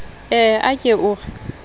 ee a ke o re